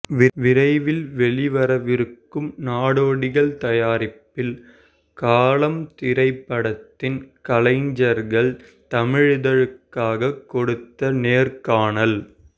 விரைவில் வெளிவரவிருக்கும் நாடோடிகள் தாயாரிப்பில் காலம் திரைப்படத்தின் கலைஞ்சர்கள் தமிழிதழுக்காக கொடுத்த நேர்காணல்